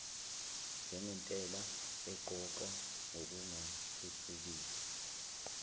njengentela eqoqwa ngokungathuthukisi